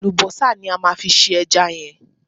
Àlùbọ́sà ní a máa fi se ẹja yẹn.